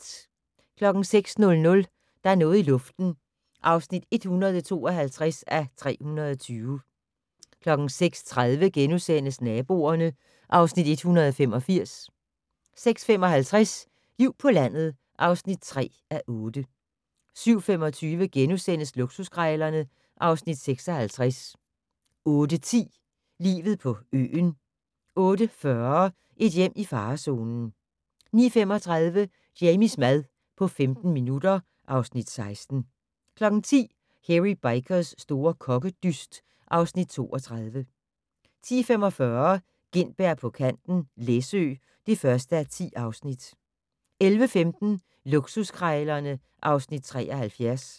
06:00: Der er noget i luften (152:320) 06:30: Naboerne (Afs. 185)* 06:55: Liv på landet (3:8) 07:25: Luksuskrejlerne (Afs. 56)* 08:10: Livet på øen 08:40: Et hjem i farezonen 09:35: Jamies mad på 15 minutter (Afs. 16) 10:00: Hairy Bikers' store kokkedyst (Afs. 32) 10:45: Gintberg på kanten - Læsø (1:10) 11:15: Luksuskrejlerne (Afs. 73)